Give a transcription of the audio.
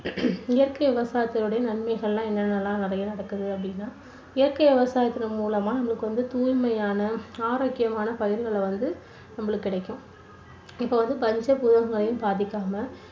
இயற்கை விவசாயத்தோடு நன்மைகள் எல்லாம் என்ன என்னெல்லாம் நிறைய நடக்குது அப்படின்னா இயற்கை விவசாயத்து மூலமா நம்மளுக்கு வந்து தூய்மையான ஆரோக்கியமான பயிர்களை வந்து நம்மளுக்கு கிடைக்கும், இப்போ வந்து பாதிக்காம